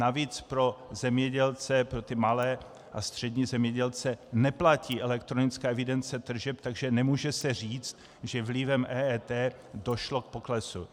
Navíc pro zemědělce, pro ty malé a střední zemědělce, neplatí elektronická evidence tržeb, takže se nemůže říct, že vlivem EET došlo k poklesu.